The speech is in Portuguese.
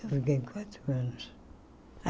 Eu fiquei quatro anos.